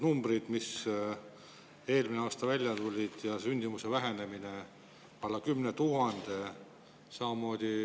Numbrid, mis on eelmise aasta kohta välja tulnud, alla 10 000.